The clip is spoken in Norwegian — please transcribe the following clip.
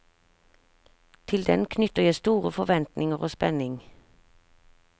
Til den knytter jeg store forventninger og spenning.